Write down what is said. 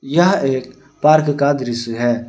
यह एक पार्क का दृश्य है।